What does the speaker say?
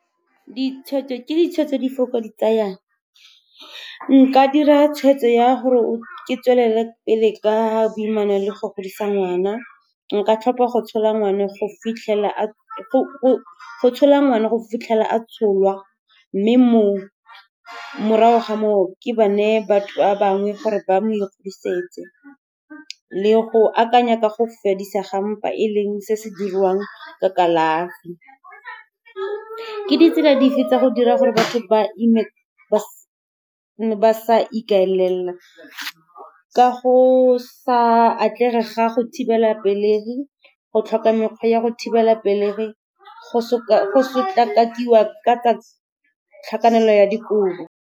Ke ditshwetso di fe o ka di tsayang? Nka dira tshweetso ya gore ke tswelele pele ka boimana le go godisa ngwana. Nka tlhopha go tshola ngwana go fitlhelela a tsholwa, mme morago ga moo ke ba neye batho ba bangwe gore ba mo ikgodisetse. Le go akanya ka go fedisa ga mpa, e e leng se se dirwang ka kalafi. Ke ditsela dife tsa go dira gore batho ba ime ba sa ikaelela? Ka go sa atlege ga go thibela pelegi, go tlhoka mekgwa ya go thibela pelegi, go sotlakakiwa ka tsa tlhakanelo ya dikobo.